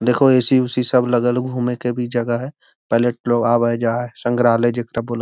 देखो ए.सी. ओसी सब लगल है घुमे के भी जगह है पायलट लोग आवे-जाए संग्रहालय --